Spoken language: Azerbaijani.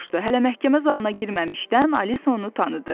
Hələ məhkəmə zalına girməmişdən Alisa onu tanıdı.